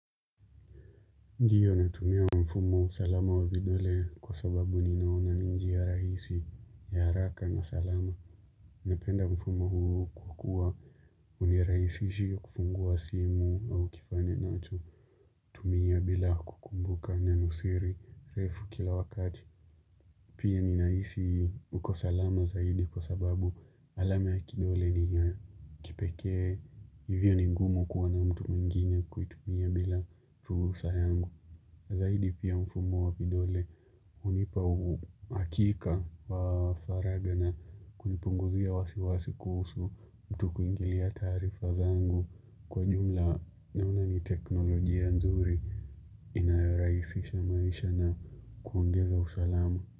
Ndiyo natumia mfumo salama wavidole kwa sababu ninaona ni njia ya rahisi ya haraka na salama. Napenda mfumo huu kwakuwa uniraisishia kufungua simu au kifane nacho. Tumia bila kukumbuka neno siri refu kila wakati. Pia ninahisi uko salama zaidi kwa sababu alame ya kidole ni ya kipekee hivyo ningumu kuwa na mtu mwingine kuitumia bila ruhusa yangu. Zaidi pia mfumo wa vidole unipa uakika wa faragha na kunipunguzia wasiwasi kuhusu mtu kuingilia taarifa zangu kwa jumla na unani teknolojia nzuri inayoraisisha maisha na kuongeza usalama.